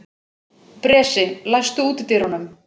Bresi, læstu útidyrunum.